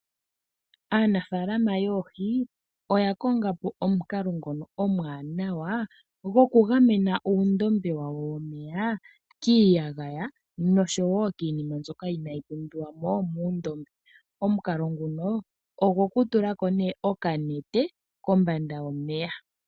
Aanafalama yoohi oya kongapo omukalo ngono omwaanawa goku gamena uundombe wawo womeya kiiyagaya noshowo kiinima ndyoka inayi pumbiwamo mundombe. Omukalo nguno ogwoku tulako ne okanete kombanda yomeya.